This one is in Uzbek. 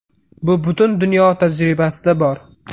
Bu butun dunyo tajribasida bor.